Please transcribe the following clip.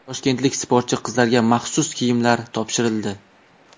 Toshkentlik sportchi qizlarga maxsus kiyimlar topshirildi.